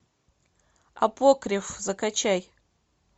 апокриф закачай